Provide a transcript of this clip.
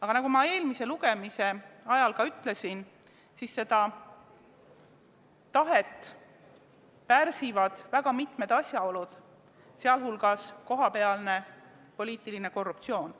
Aga nagu ma eelmise lugemise ajal ütlesin, seda tahet pärsivad väga mitmed asjaolud, sh kohapealne poliitiline korruptsioon.